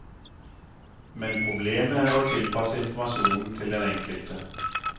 Men problemet er å tilpasse informasjonen til den enkelte.